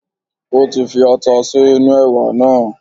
Ó ti fi ata sí inú ẹ̀wà náà